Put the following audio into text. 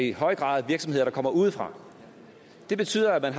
i høj grad virksomheder der kommer udefra det betyder at man